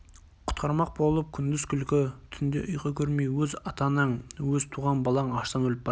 құтқармақ болып күндіз күлкі түнде ұйқы көрмей өз ата-анаң өз туған балаң аштан өліп бара